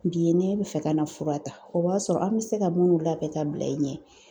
Bi ye ne bi fɛ ka na fura ta. O b'a sɔrɔ an be se ka munnu labɛn ka bila i ɲɛ